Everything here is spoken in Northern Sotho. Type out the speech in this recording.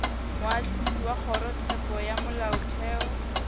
moahlodi wa kgorotsheko ya molaotheo